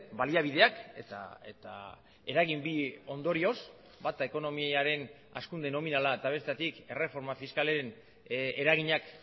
baliabideak eta eragin bi ondorioz bata ekonomiaren hazkunde nominala eta bestetik erreforma fiskalen eraginak